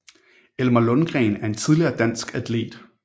Elmer Lundgren er en tidligere dansk atlet